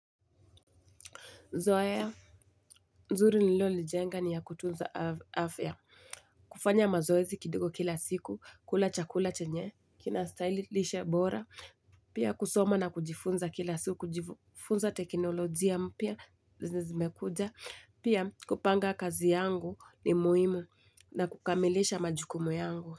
Zoea, nzuri nililolijenga ni ya kutunza afya. Kufanya mazoezi kidogo kila siku, kula chakula chenye, kinastahili, lishe bora. Pia kusoma na kujifunza kila siku, kujifunza teknolojia mpya, zenye zimekuja. Pia kupanga kazi yangu ni muhimu na kukamilisha majukumu yangu.